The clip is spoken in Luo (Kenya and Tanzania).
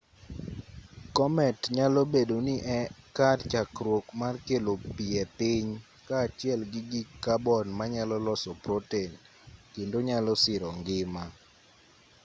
komet nyalo bedo ni e kar chakruok mar kelo pi e piny kaachiel gi gik kabon manyalo loso proten kendo nyalo siro ngima